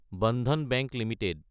Bandhan bank Ltd